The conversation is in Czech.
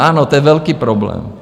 Ano, to je velký problém.